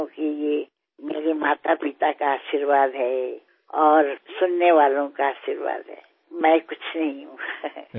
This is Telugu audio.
అవునండీ ఇదంతా మా తల్లిదండ్రుల ఆశీర్వాదం శ్రోతల ఆశీర్వాదం వల్ల సాధ్యమైంది